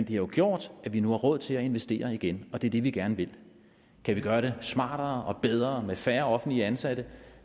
jo gjort at vi nu har råd til at investere igen og det er det vi gerne vil kan vi gøre det smartere og bedre med færre offentligt ansatte